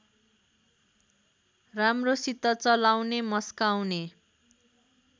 राम्रोसित चलाउने मस्काउने